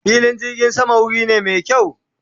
fillin jirgin sama wuri ne me kyawu